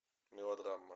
мелодрама